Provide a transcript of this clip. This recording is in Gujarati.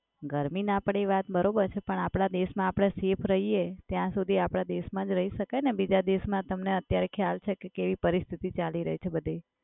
ગરમી ના પડે એ વાત બરોબર છે પણ આપડા દેશમાં આપડે safe રહીયે ત્યાં સુધિ આપડા દેશમાં જ રહી શકાય ને. બીજા દેશમાં તમને અત્યારે ખ્યાલ છે કે કેવી પરિસ્થિતી ચાલી રહી છે બધે.